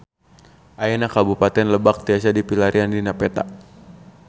Ayeuna Kabupaten Lebak tiasa dipilarian dina peta